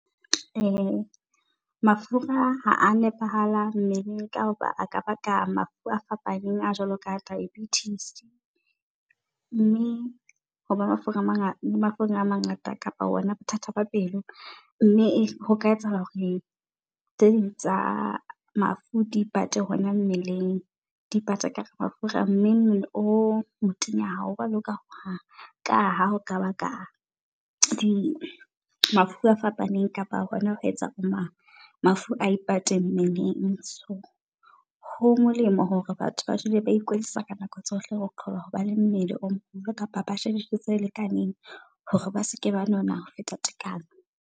Mafura h a a nepahala mmeleng kaha a ka ba ka mafu a fapaneng a jwalo ka diabetes. Mme hoba mafura a mangata le mafura a mangata kapa wona bothata ba pelo, mme hoka etsa hore tse ding tsa mafu di ipate hona mmeleng. Di ipate ka mafura mme mmele o motenya hao wa loka hohang. Ka ha o ka baka di mafu a fapaneng, kapa hona ba etsa bo mang mafu a ipate mmeleng. So ho molemo hore batho ba dule ba ikwetlisa ka nako tsohle ho qoba hoba le mmele o moholo kapa ba je dijo tse lekaneng hore ba seke ba nona ho feta tekanyo.